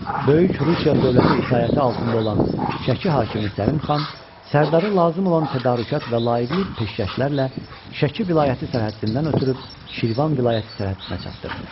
Böyük Rusiya dövləti itaəti altında olan Şəki hakimi Səlim xan Sərdarı lazım olan tədarükat və layiqli peşkəşlərlə Şəki vilayəti sərhəddindən ötürüb Şirvan vilayəti sərhəddinə çatdırdı.